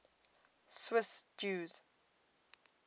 swiss jews